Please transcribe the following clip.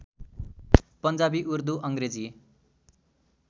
Punjabi Urdu Angrezi